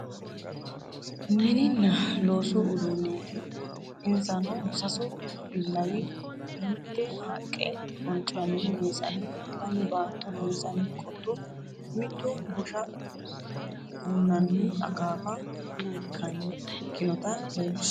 Mininna loosu uduunneeti insano sasu billawi mitte haqqe boncanni meesane lame baatto loonsanni qotto mittu bushsha hunanni akaafa ikkinota leellishshanno.